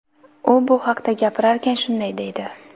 U bu haqda gapirarkan, shunday deydi:.